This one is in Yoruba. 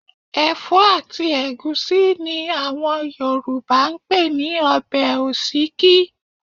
Ẹ̀fọ́ àti ẹ̀gúsí ni àwọn Yorùbá ń pè ní ọbẹ̀ òsíkí